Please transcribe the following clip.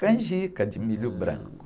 Canjica de milho branco.h.